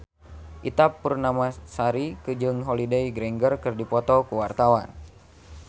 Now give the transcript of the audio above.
Ita Purnamasari jeung Holliday Grainger keur dipoto ku wartawan